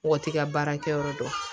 Mɔgɔ t'i ka baara kɛyɔrɔ dɔn